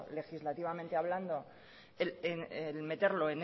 legislativamente hablando el meterlo